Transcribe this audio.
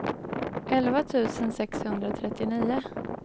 elva tusen sexhundratrettionio